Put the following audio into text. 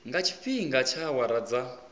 nga tshifhinga tsha awara dza